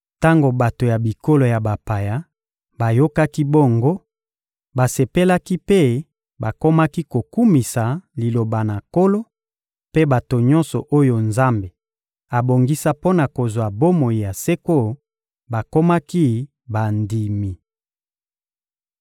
Tango bato ya bikolo ya bapaya bayokaki bongo, basepelaki mpe bakomaki kokumisa Liloba na Nkolo; mpe bato nyonso oyo Nzambe abongisa mpo na kozwa bomoi ya seko bakomaki bandimi.